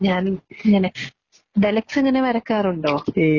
ഞാനും ഇങ്ങനെ. ഇങ്ങനെ വരയ്ക്കാറുണ്ടോ?